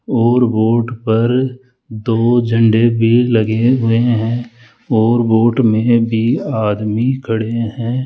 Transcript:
और बोट पर दो झंडे भी लगे हुए हैं और वोट में भी आदमी खड़े हैं।